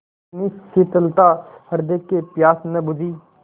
इतनी शीतलता हृदय की प्यास न बुझी